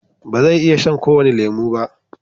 ba zai iya shan ko wani lemo ba